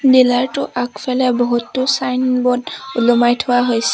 Dealer টোৰ আগফালে বহুতো ছাইনবোৰ্ড ওলমাই থোৱা হৈছে।